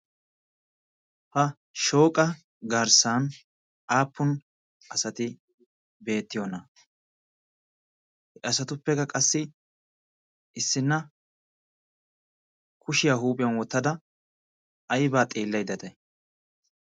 ha shooqa garssan aappun asati beettiyoona he asatuppekka qassi issinna kushiyaa huuphiyan wottada aibaa xiillai day?